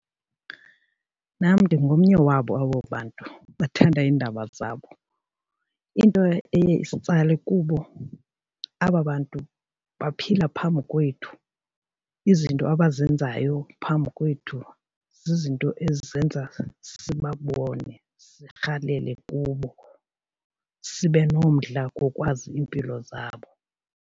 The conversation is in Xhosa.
Nam ndingomnye wabo abo bantu bathanda iindaba zabo. Into eye isitsalwe kubo, aba bantu baphila phambi kwethu, izinto abazenzayo phambi kwethu zizinto ezenza sibabone sirhalele kubo, sibe nomdla wokwazi iimpilo zabo.